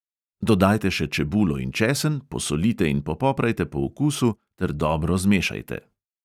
Dodajte še čebulo in česen, posolite in popoprajte po okusu ter dobro zmešajte.